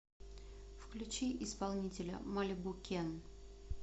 включи исполнителя малибу кен